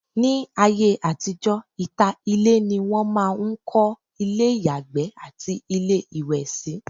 ní ayé àtijọ́, ìta ilé ni wọn máà ń kọ́ ilé ìyàgbẹ́ àti ilé ìwẹ̀ sí